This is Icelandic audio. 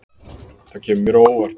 Það kemur mér á óvart